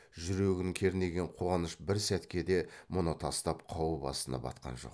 жүрегін кернеген қуаныш бір сәтке де мұны тастап қауіп астына батқан жоқ